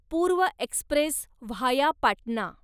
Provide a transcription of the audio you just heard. पूर्व Express via Patna